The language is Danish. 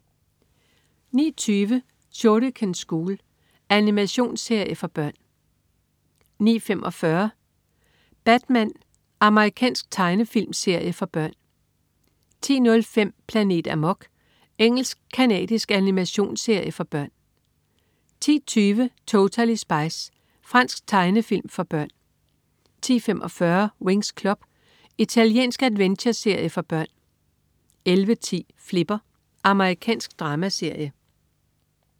09.20 Shuriken School. Animationsserie for børn 09.45 Batman. Amerikansk tegnefilmserie for børn 10.05 Planet Amok. Engelsk-canadisk animationsserie for børn 10.20 Totally Spies. Fransk tegnefilm for børn 10.45 Winx Club. Italiensk adventureserie for børn 11.10 Flipper. Amerikansk dramaserie